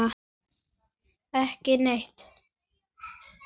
Ekki neitt